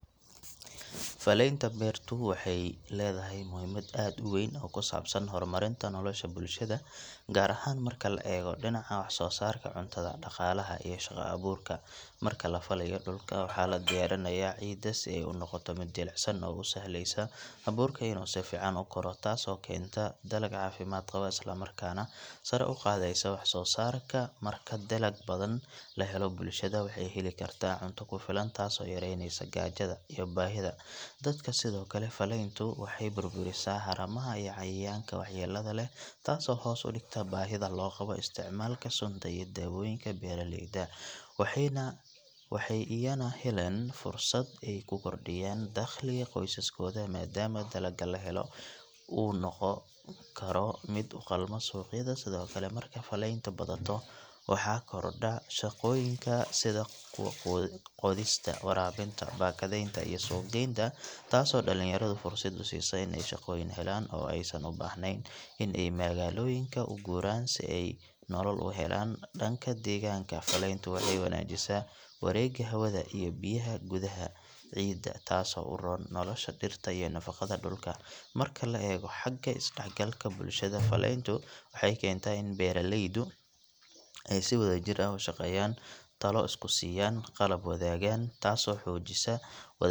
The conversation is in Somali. Falaynta beertu waxay leedahay muhiimad aad u weyn oo ku saabsan horumarinta nolosha bulshada gaar ahaan marka laga eego dhinaca wax soo saarka cuntada, dhaqaalaha iyo shaqo abuurka marka la falaayo dhulka waxaa la diyaarinayaa ciidda si ay u noqoto mid jilicsan oo u sahlaysa abuurka inuu si fiican u koro taasoo keenta dalag caafimaad qaba isla markaana sare u qaadaysa wax soo saarka marka dalag badan la helo bulshada waxay heli kartaa cunto ku filan taasoo yareynaysa gaajada iyo baahida dadka sidoo kale falayntu waxay burburisaa haramaha iyo cayayaanka waxyeellada leh taasoo hoos u dhigta baahida loo qabo isticmaalka sunta iyo daawooyinka beeraleyda waxay iyana helaan fursad ay ku kordhiyaan dakhliga qoysaskooda maadaama dalagga la helo uu noqon karo mid u qalma suuqyada sidoo kale marka falayntu badato waxaa kordha shaqooyinka sida kuwa qodista, waraabinta, baakadeeynta iyo suuqgaynta taasoo dhalinyarada fursad u siisa in ay shaqooyin helaan oo aysan u baahnayn in ay magaalooyinka u guuraan si ay nolol u helaan dhanka deegaanka falayntu waxay wanaajisaa wareegga hawada iyo biyaha gudaha ciidda taasoo u roon nolosha dhirta iyo nafaqada dhulka marka laga eego xagga isdhexgalka bulshada falayntu waxay keentaa in beeraleydu ay si wadajir ah u shaqeeyaan, talo isku siiyaan, qalab wadaagaan taasoo xoojisa wada.